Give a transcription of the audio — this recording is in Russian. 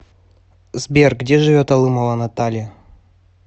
сбер где живет алымова наталья